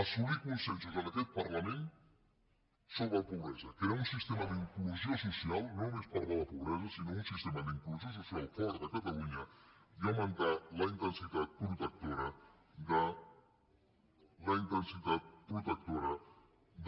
assolir consensos en aquest parlament sobre pobresa crear un sistema d’inclusió social no només parlar de pobresa sinó un sistema d’inclusió social fort a catalunya i augmentar la intensitat protectora